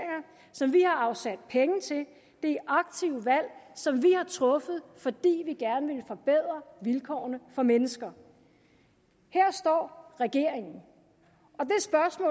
som vi har afsat penge til det er aktive valg som vi har truffet fordi vi gerne ville forbedre vilkårene for mennesker her står regeringen